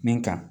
Min ka